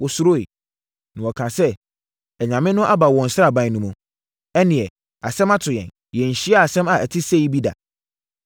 wɔsuroeɛ. Na wɔkaa sɛ, “Anyame no aba wɔn sraban mu hɔ. Ɛnneɛ, asɛm ato yɛn! Yɛnhyiaa asɛm a ɛte sei bi da.